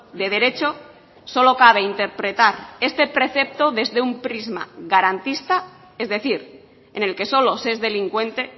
de derecho solo cabe interpretar este precepto desde un prisma garantista es decir en el que solo se es delincuente